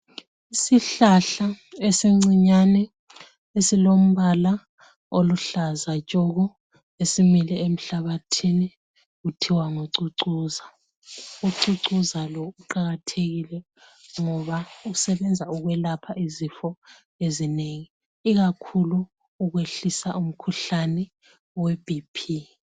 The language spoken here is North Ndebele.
Isihlahla esincinyane esilombala oluhlaza tshoko, esimile emhlabathini kuthiwa ngucucuza. Ucucuza lo uqakathekile ngoba usebenza ukwelapha izifo ezinengi ikakhulu ukwehlisa umkhuhlane weBP.